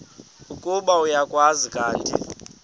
ukuba uyakwazi kanti